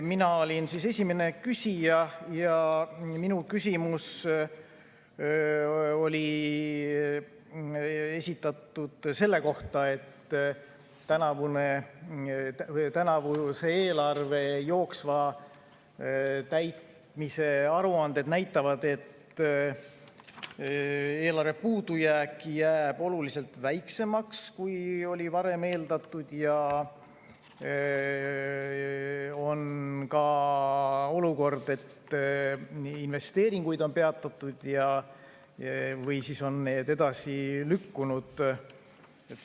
Mina olin esimene küsija ja minu küsimus oli esitatud selle kohta, et tänavuse eelarve jooksva täitmise aruanded näitavad, et eelarve puudujääk jääb oluliselt väiksemaks, kui oli varem eeldatud, ja on ka olukord, et investeeringuid on peatatud või on need edasi lükkunud.